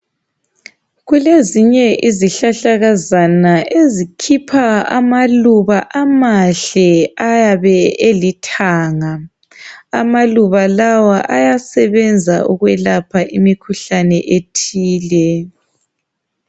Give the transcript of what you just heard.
kulezinye izihlahlakazana ezikhipha amaluba amahle ayabe elithanga amaluba lawa ayasebenza ukwelapha imkhuhlane ethile.